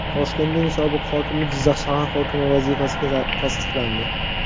Toshkentning sobiq hokimi Jizzax shahar hokimi vazifasiga tasdiqlandi.